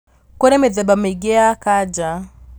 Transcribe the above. Kũrĩ mĩthemba mĩingĩ ya kanja